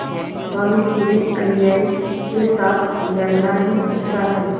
भानुकुँवरिअन्यायी के साथ लड़ना ही अच्छा है